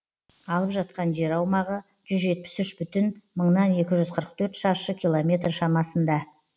алып жатқан жер аумағы жүз жетпіс үш бүтін мыңнан екі жүз қырық төрт шаршы километр шамасында